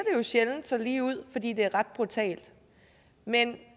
sjældent så ligeud fordi det er ret brutalt men